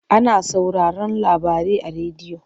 Ana sauraron labarai a rediyo.